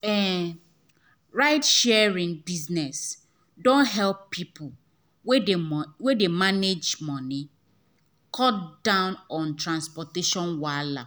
um ride sharing um business don help people wey dey manage moneycut um down on transportation wahala.